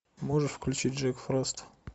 можешь включить джек фрост